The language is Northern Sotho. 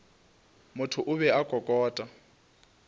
motho o be a kokota